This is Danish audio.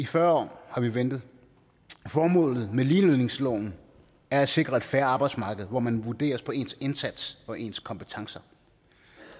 fyrre år har vi ventet formålet med ligelønsloven er at sikre et fair arbejdsmarked hvor man vurderes på ens indsats og ens kompetencer